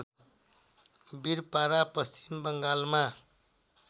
बिरपारा पश्चिम बङ्गालमा